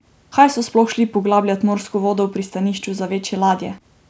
Kaj so sploh šli poglabljat morsko dno v pristanišču za večje ladje?